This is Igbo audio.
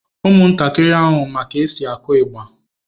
Ụmụntakịrị ahụ ma ka e si akụ ịgbà.